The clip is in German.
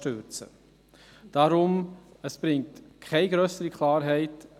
Deshalb: Es bringt keine grössere Klarheit.